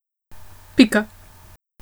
Pika.